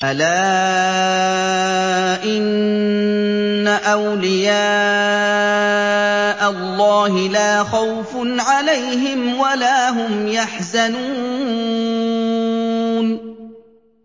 أَلَا إِنَّ أَوْلِيَاءَ اللَّهِ لَا خَوْفٌ عَلَيْهِمْ وَلَا هُمْ يَحْزَنُونَ